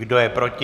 Kdo je proti?